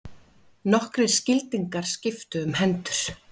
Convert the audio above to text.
Nokkrir skildingar skiptu um hendur.